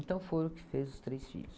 Então, foi o que fez os três filhos.